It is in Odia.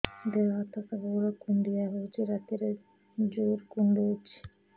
ଦେହ ହାତ ସବୁବେଳେ କୁଣ୍ଡିଆ ହଉଚି ରାତିରେ ଜୁର୍ କୁଣ୍ଡଉଚି